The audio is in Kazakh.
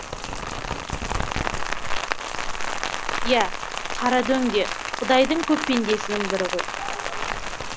иә қарадөң де құдайдың көп пендесінің бірі ғой